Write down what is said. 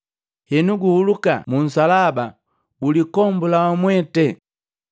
Enu, guhuluka munsalaba ulikombula wamwete!”